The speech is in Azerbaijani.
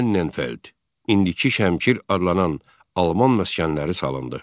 Annenfeld, indiki Şəmkir adlanan alman məskənləri salındı.